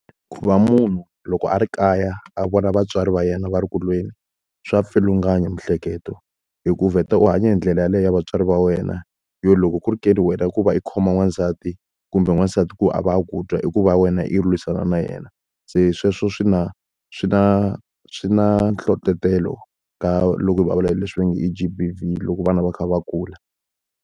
Ku va munhu loko a ri kaya a vona vatswari va yena va ri eku lweni, swa pfulunganya miehleketo, hikuva u vheta u hanya hi ndlela yeleyo vatswari va wena. Yo loko ku ri ke ni wena ku va i khoma n'wansati, kumbe n'wansati ku a va a ku twa i ku va ya wena yi lwisana na yena. Se sweswo swi na swi na swi na nhlohlotelo ka loko hi vulavula hi leswi va nge i G_B_V loko vana va kha va kula.